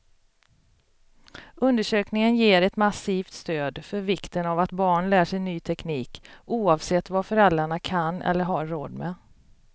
Undersökningen ger ett massivt stöd för vikten av att barn lär sig ny teknik, oavsett vad föräldrarna kan eller har råd med.